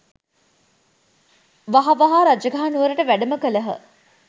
වහ වහා රජගහ නුවරට වැඩම කළහ